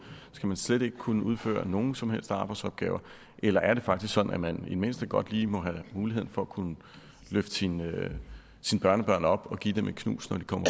skal man slet ikke kunne udføre nogen som helst arbejdsopgaver eller er det faktisk sådan at man i det mindste godt lige må have muligheden for at kunne løfte sine børnebørn op og give dem et knus når de kommer